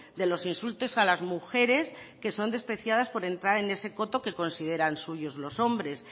de los insultos a las mujeres que son despreciadas por entrar en ese coto que consideran suyo los hombres